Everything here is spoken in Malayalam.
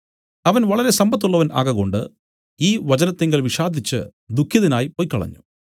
അവൻ വളരെ സമ്പത്തുള്ളവൻ ആകകൊണ്ട് ഈ വചനത്തിങ്കൽ വിഷാദിച്ചു ദുഃഖിതനായി പൊയ്ക്കളഞ്ഞു